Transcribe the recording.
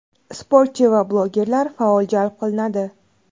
sportchi va blogerlar faol jalb qilinadi.